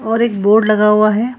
और एक बोर्ड लगा हुआ है।